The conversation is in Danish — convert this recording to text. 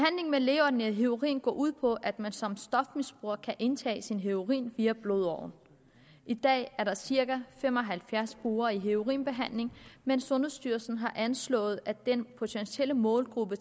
med lægeordineret heroin går ud på at man som stofmisbruger kan indtage sin heroin via blodårerne i dag er der cirka fem og halvfjerds brugere i heroinbehandling men sundhedsstyrelsen har anslået at den potentielle målgruppe